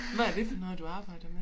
Hvad er det for noget du arbejder med